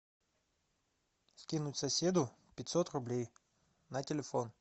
скинуть соседу пятьсот рублей на телефон